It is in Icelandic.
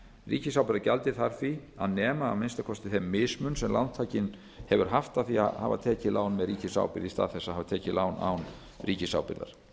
ábyrgðinni ríkisábyrgðargjaldið þarf því að nema að minnsta kosti þeim mismun sem lántakinn hefur haft af því að hafa tekið lán með ríkisábyrgð í stað þess að hafa tekið lán án ríkisábyrgðar